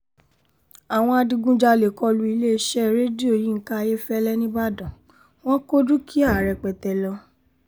àwọn adigunjalè kọ lu iléeṣẹ́ rédíò yinka ayéfẹ́lẹ́ nìbàdàn wọn kò dúkìá rẹpẹtẹ lọ